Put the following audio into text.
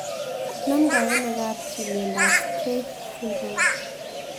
Namdooi ano kapchii miondop Streiff syndrome